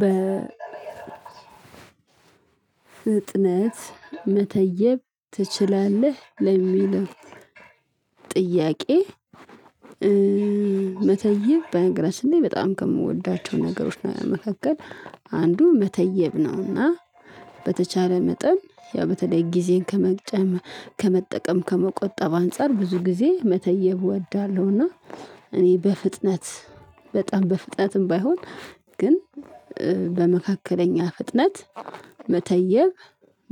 በፍጥነት መተየብ ትችላለህ ለሚለው ጥያቄ? መተየብ በነገራችን ላይ በጣም ከምወዳቸው ነገሮች ነ መካከል አንዱ መተየብ ነው። እና በተቻለ መጠን ያው በተለይ ጊዜን ከመጨመ ከመጠቀም ከመቆጠብ አንፃር ብዙ ጊዜ መተየብ እወዳለሁ። እና እኔ በፍጥነት በጣም በፍጥነትም ባይሆን ግን በመካከለኛ ፍጥነት መተየብ